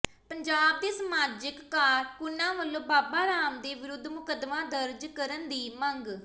ਪੰਜਾਬ ਦੇ ਸਮਾਜਕ ਕਾਰਕੁਨਾਂ ਵਲੋਂ ਬਾਬਾ ਰਾਮਦੇਵ ਵਿਰੁਧ ਮੁਕੱਦਮਾ ਦਰਜ ਕਰਨ ਦੀ ਮੰਗ